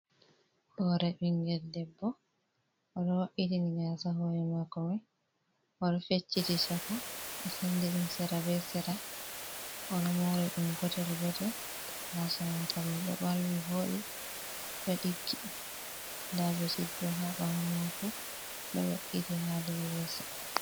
Hore bingel debbo o do mabbiti ni gasa hore mako mai odo fecciti chaka o sendi dum sera be sera odo mori dum gotel gotel, gasa mako mai do balwi vodi do diggi da beshit bo ha bawo mako do we'iti ha dow leso.